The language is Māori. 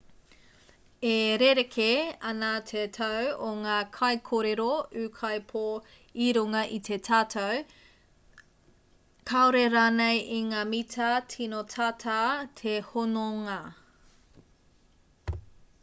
e rerekē ana te tau o ngā kaikōrero ūkaipō i runga i te tatau kāore rānei i ngā mita tino tata te hononga